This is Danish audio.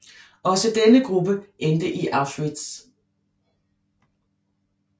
Også denne gruppe endte i Auschwitz